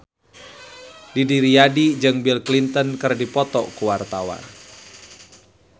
Didi Riyadi jeung Bill Clinton keur dipoto ku wartawan